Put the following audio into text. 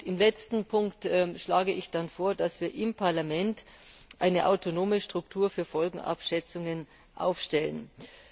Im letzten Punkt schlage ich dann vor, dass wir im Parlament eine autonome Struktur für Folgenabschätzungen einrichten.